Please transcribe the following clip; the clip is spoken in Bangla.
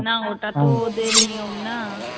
না ওটা তো ওদের নিয়ম না